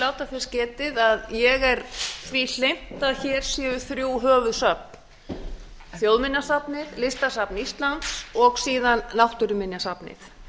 láta þess getið að ég er því hlynnt að hér séu þrjú höfuðsöfn þjóðminjasafnið listasafn íslands og síðan náttúruminjasafnið